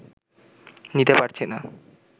নিতে পারছি না